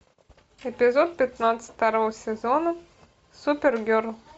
эпизод пятнадцать второго сезона супергерл